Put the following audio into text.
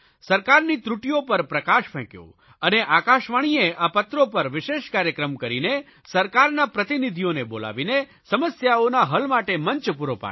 સરકારની ત્રુટીઓ પર પ્રકાશ ફેંક્યો અને આકાશવાણીએ આ પત્રો પર વિશેષ કાર્યક્રમ કરીને સરકારના પ્રતિનિધિઓને બોલાવીને સમસ્યાઓના હલ માટે મંચ પૂરો પાડ્યો